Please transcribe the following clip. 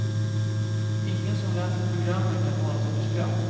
Ingen som läser programmen kan hålla sig för skratt.